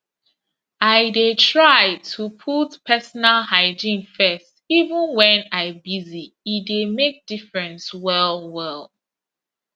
i dey try to put personal hygiene first even when i busy e dey make difference well well